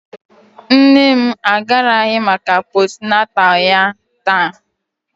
Nne m agaraghị maka postnatal ya taa